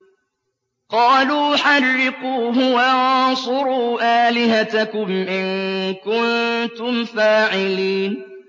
قَالُوا حَرِّقُوهُ وَانصُرُوا آلِهَتَكُمْ إِن كُنتُمْ فَاعِلِينَ